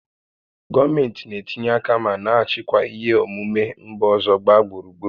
Gọọmentị na-etinye aka ma na-achịkwa ihe omume mba ọzọ gbaa gburugburu